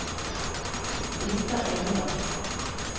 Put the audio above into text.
Brita Egeland